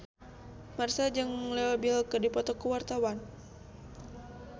Marchell jeung Leo Bill keur dipoto ku wartawan